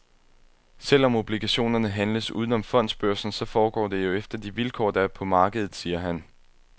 Selvom obligationerne handles uden om fondsbørsen, så foregår det jo efter de vilkår der er på markedet, siger han.